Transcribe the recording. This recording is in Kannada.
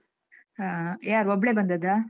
ಹಾ ಯಾರು ಒಬ್ಳೆ ಬಂದದ್ದಾ?